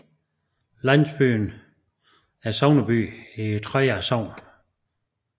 Landsbyen er sogneby i Treja Sogn